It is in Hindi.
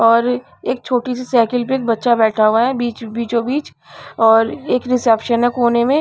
और एक छोटा ही साइकिल पे एक बच्चा बैठा हुआ है बीच बीचोंबीच और एक रिसेप्शन है कोने में--